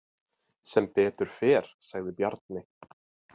Sem betur fer, sagði Bjarni.